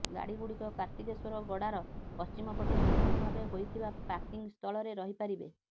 ଗାଡିଗୁଡିକ କାର୍ତ୍ତିକେଶ୍ୱର ଗଡ଼ାର ପଶ୍ଚିମପଟେ ନୂତନ ଭାବେ ହୋଇଥିବା ପାର୍କିଂସ୍ଥଳରେ ରହିପାରିବେ